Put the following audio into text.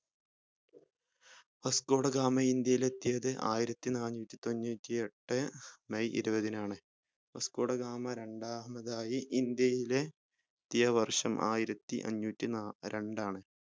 Vasco da Gama ഇന്ത്യയിൽ എത്തിയത് ആയിരത്തിനാന്നൂറ്റിതൊണ്ണൂറ്റിയട്ട് may ഇരുപതിനാണ് വാസ്കോ ഡ ഗാമ രണ്ടാമത് ആയി ഇന്ത്യയിലെ എത്തിയ വർഷം ആയിരത്തിഅഞ്ഞൂറ്റി ന രണ്ടാണ്